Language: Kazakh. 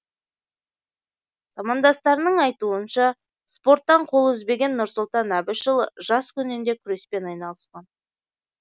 замандастарының айтуынша спорттан қол үзбеген нұрсұлтан әбішұлы жас күнінде күреспен айналысқан